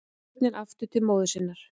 Börnin aftur til móður sinnar